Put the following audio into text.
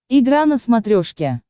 игра на смотрешке